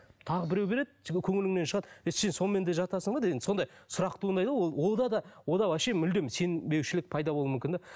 тағы біреу береді сенің көңіліңнен шығады ей сен сонымен де жатасың ба деген сондай сұрақ туындайды ғой ол онда да вообще мүлдем сенбеушілік пайда болуы мүмкін де